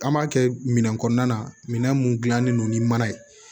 An b'a kɛ minɛn kɔnɔna na minɛn mun gilannen no ni mana ye